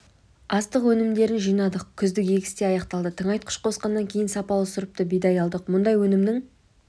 астық өнімдерін жинадық күздік егіс те аяқталды тыңайтқыш қосқаннан кейін сапалы сұрыпты бидай алдық мұндай өнімнің